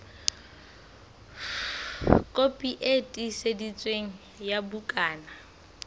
kopi e tiiseditsweng ya bukana